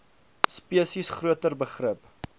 spesies groter begrip